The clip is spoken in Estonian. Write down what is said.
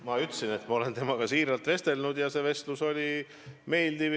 Ma ütlesin, et ma olen temaga vestelnud ja see vestlus oli meeldiv.